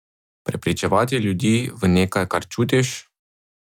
Prepričevati ljudi v nekaj, kar čutiš ...